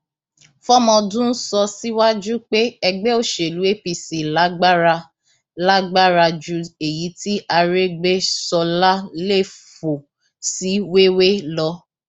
fọmọdún sọ síwájú pé ẹgbẹ òṣèlú apc lágbára lágbára ju èyí tí arégbèsọlá lè fò sí wéèwé lọ